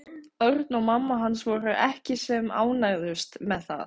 Örn og mamma hans voru ekki sem ánægðust með það.